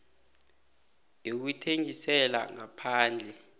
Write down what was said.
yokuthengisela ngaphandle